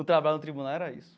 O trabalho no tribunal era isso.